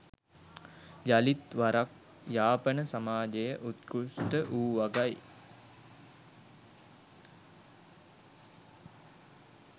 යළිත් වරක් යාපන සමාජය උත්කෘෂ්ට වූ වගයි